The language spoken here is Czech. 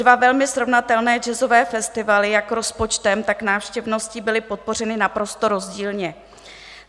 Dva velmi srovnatelné jazzové festivaly jak rozpočtem, tak návštěvností byly podpořeny naprosto rozdílně.